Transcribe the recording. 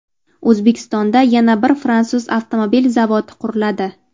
O‘zbekistonda yana bir fransuz avtomobil zavodi quriladi.